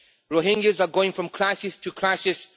Rohingyas are going from crisis to crisis.